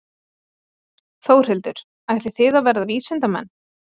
Þórhildur: Ætlið þið að verða vísindamenn?